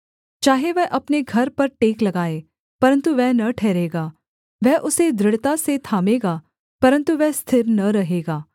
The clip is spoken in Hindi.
चाहे वह अपने घर पर टेक लगाए परन्तु वह न ठहरेगा वह उसे दृढ़ता से थामेगा परन्तु वह स्थिर न रहेगा